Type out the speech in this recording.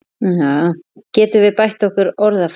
Getum við bætt okkar orðfæri?